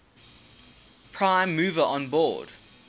prime mover onboard